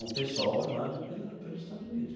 o pessoal armado pela pelos Estados Unidos.